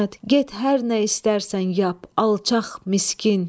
Get hər nə istərsən yap, alçaq, miskin!